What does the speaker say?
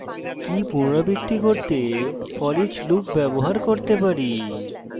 key পুনরাবৃত্তি করতে foreach loop ব্যবহার করতে পারি